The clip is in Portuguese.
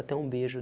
Até um beijo.